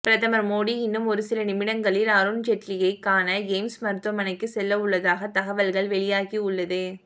பிரதமர் மோடி இன்னும் ஒருசில நிமிடங்களில் அருண் ஜெட்லியை காண எய்ம்ஸ் மருத்துவமனைக்கு செல்லவுள்ளதாக தகவல்கள் வெளியாகியுள்ளது